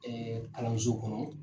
kalanso kɔnɔ.